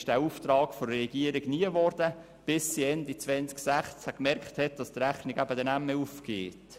Der Auftrag wurde von der Regierung nicht umgesetzt, bis diese Ende 2016 gemerkt hat, dass die Rechnung nicht mehr aufgeht.